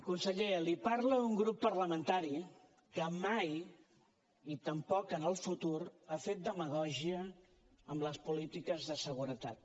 conseller li parla un grup parlamentari que mai i tampoc en el futur ha fet demagògia amb les polítiques de seguretat